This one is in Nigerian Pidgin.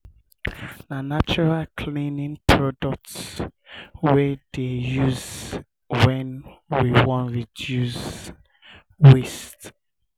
na natural cleaning products um we dey um use wen we wan reduce waste. um